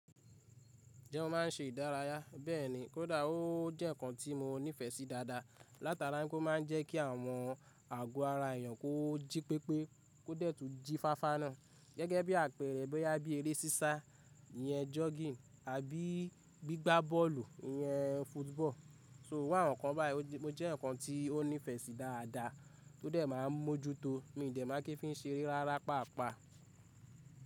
Ǹjẹ́ mo máa ń ṣe ìdárayá? Bẹ́ẹ̀ni, kódà ó jẹ́ ǹkan tí mo nífẹ̀ẹ́ sí dáadáa látara pé ó máa ń jẹ́ kí àwọn àgọ́ ara èèyàn kó jí pépé kó dẹ̀ tu jí fáfá náà. Gẹ́gẹ́ bí àpẹẹrẹ bóyá bí eré sísá iyẹn jogging àbí gbígbá bọ́ọ̀lù yẹn football. So iru àwọn kan báyìí. Ó jẹ́ ǹkan tí ó nífẹ̀ẹ́ sí dáadáa tó dẹ̀ máa ń mójú tó mi dẹ̀ mákí fi ń ṣe eré rárá pàápàá.